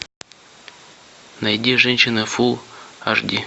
найди женщина фул аш ди